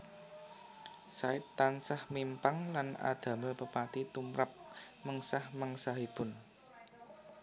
Said tansah mimpang lan adamel pepati tumrap mengsah mengsahipun